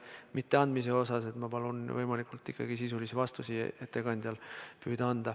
Ma palun ettekandjal püüda anda võimalikult sisulisi vastuseid.